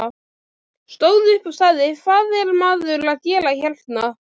Stóð upp og sagði: Hvað er maður að gera hérna?